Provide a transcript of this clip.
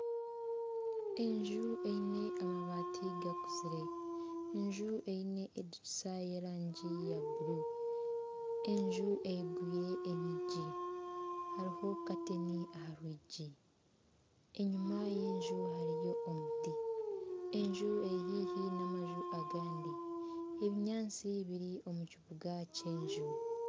Enju eine amabaati gakuzire, enju eine edirisa y'erangi ya buru. Enju eigwire enyigi hariho kateni aha rwigi. enyuma y'enju hariyo omuti. enju eri haihi n'amaju agandi. Ebinyaatsi biri omu kibuga ky'enju.